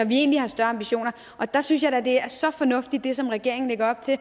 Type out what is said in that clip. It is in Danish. vi egentlig har større ambitioner der synes jeg da at det som regeringen lægger op til